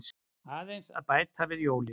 Aðeins að bæta við jólin.